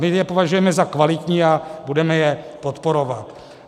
My je považujeme za kvalitní a budeme je podporovat.